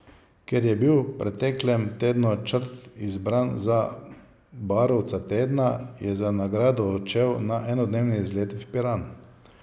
Ker je bil v preteklem tednu Črt izbran za barovca tedna, je za nagrado odšel na enodnevni izlet v Piran.